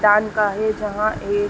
जहां ए --